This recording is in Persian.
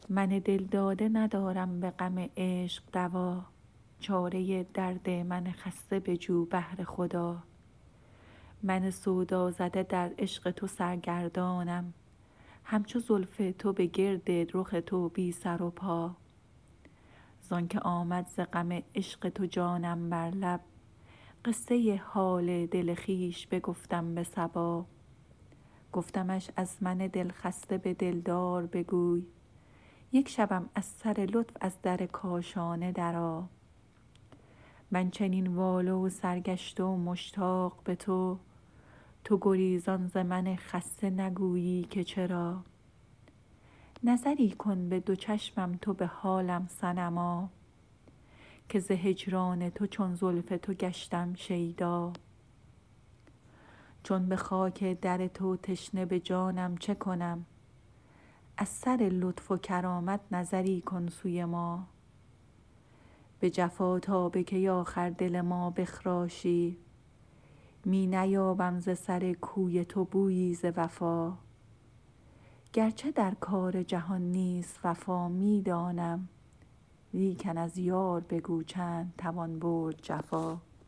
من دلداده ندارم به غم عشق دوا چاره درد من خسته بجو بهر خدا من سودازده در عشق تو سرگردانم همچو زلف تو به گرد رخ تو بی سر و پا زآنکه آمد ز غم عشق تو جانم بر لب قصه حال دل خویش بگفتم به صبا گفتمش از من دلخسته به دلدار بگوی یک شبم از سر لطف از در کاشانه درآ من چنین واله و سرگشته و مشتاق به تو تو گریزان ز من خسته نگویی که چرا نظری کن به دو چشمم تو به حالم صنما که ز هجران تو چون زلف تو گشتم شیدا چون به خاک در تو تشنه به جانم چه کنم از سر لطف و کرامت نظری کن سوی ما به جفا تا به کی آخر دل ما بخراشی می نیابم ز سر کوی تو بویی ز وفا گرچه در کار جهان نیست وفا می دانم لیکن از یار بگو چند توان برد جفا